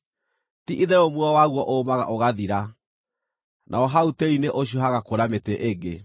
Ti-itherũ muoyo waguo ũmaga ũgathira, naho hau tĩĩri-inĩ ũcio hagakũra mĩtĩ ĩngĩ.